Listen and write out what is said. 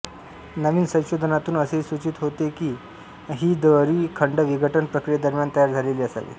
नवीन संशोधनातून असेही सूचित होते की ही दरी खंड विघटन प्रक्रियेदरम्यान तयार झालेली असावी